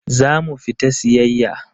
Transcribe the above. Za mu fita siyayya.